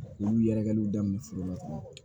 Olu yɛrɛkɛliw daminɛ foro la